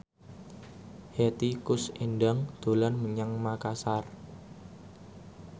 Hetty Koes Endang dolan menyang Makasar